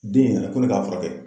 Den nana ko ne ka furakɛ.